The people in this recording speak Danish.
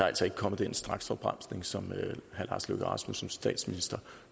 altså ikke kommet den straksopbremsning som som statsminsteren